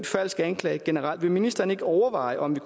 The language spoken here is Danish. falsk anklage generelt vil ministeren ikke overveje om